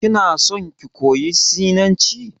Kinason ki koyi sinanci?